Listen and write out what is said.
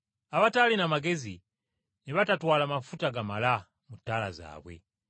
Abataalina magezi, ne batatwala mafuta gamala mu ttaala zaabwe.